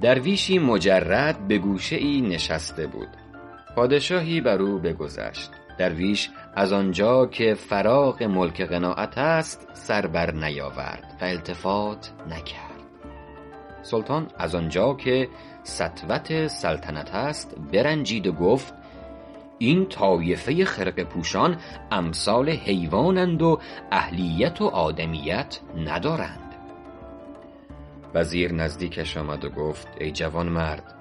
درویشی مجرد به گوشه ای نشسته بود پادشاهی بر او بگذشت درویش از آنجا که فراغ ملک قناعت است سر بر نیاورد و التفات نکرد سلطان از آنجا که سطوت سلطنت است برنجید و گفت این طایفه خرقه پوشان امثال حیوان اند و اهلیت و آدمیت ندارند وزیر نزدیکش آمد و گفت ای جوانمرد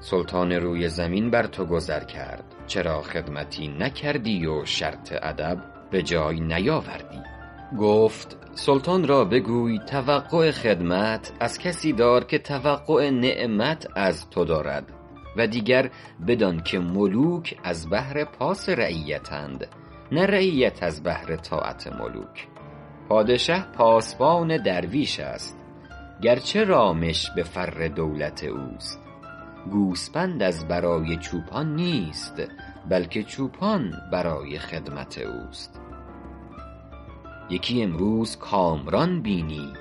سلطان روی زمین بر تو گذر کرد چرا خدمتی نکردی و شرط ادب به جای نیاوردی گفت سلطان را بگوی توقع خدمت از کسی دار که توقع نعمت از تو دارد و دیگر بدان که ملوک از بهر پاس رعیت اند نه رعیت از بهر طاعت ملوک پادشه پاسبان درویش است گرچه رامش به فر دولت اوست گوسپند از برای چوپان نیست بلکه چوپان برای خدمت اوست یکی امروز کامران بینی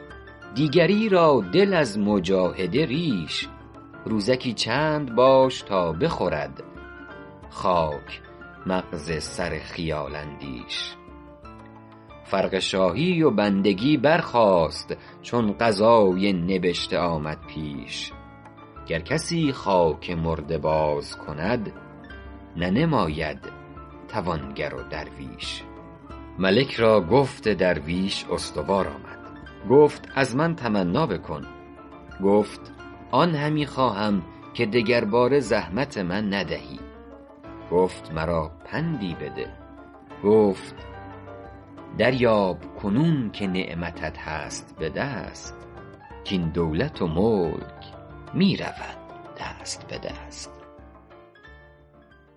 دیگری را دل از مجاهده ریش روزکی چند باش تا بخورد خاک مغز سر خیال اندیش فرق شاهی و بندگی برخاست چون قضای نبشته آمد پیش گر کسی خاک مرده باز کند ننماید توانگر و درویش ملک را گفت درویش استوار آمد گفت از من تمنا بکن گفت آن همی خواهم که دگرباره زحمت من ندهی گفت مرا پندی بده گفت دریاب کنون که نعمتت هست به دست کاین دولت و ملک می رود دست به دست